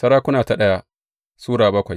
daya Sarakuna Sura bakwai